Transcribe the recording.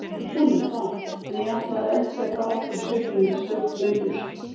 Hún um það, en ég ætlaði ekki að fara aftur í sveitina undir stjórn Sveinbjörns.